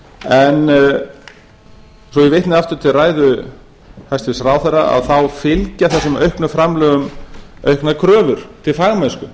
efni svo ég vitni aftur til ræðu hæstvirts ráðherra þá fylgja þessum auknu framlögum auknar kröfur til fagmennsku